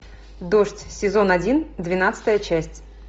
дождь сезон один двенадцатая часть